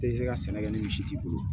Te se ka sɛnɛ kɛ ni misi t'i bolo